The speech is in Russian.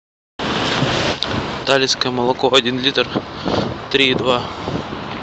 талицкое молоко один литр три и два